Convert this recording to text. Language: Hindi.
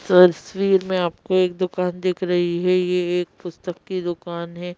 तस्वीर में आपको एक दुकान दिख रही है ये एक पुस्तक की दुकान हैं।